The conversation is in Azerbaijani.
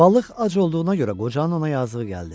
Balıq ac olduğuna görə qocanın ona yazığı gəldi.